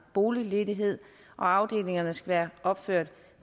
boligledighed og afdelingerne skal være opført